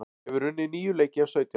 Hefur unnið níu leiki af sautján